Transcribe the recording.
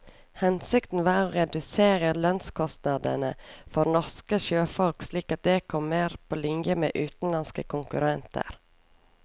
Hensikten var å redusere lønnskostnadene for norske sjøfolk slik at de kom mer på linje med utenlandske konkurrenter.